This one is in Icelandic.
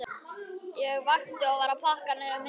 Ég vakti og var að pakka niður myndunum.